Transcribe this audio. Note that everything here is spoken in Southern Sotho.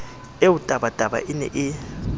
eo tabataba e ne e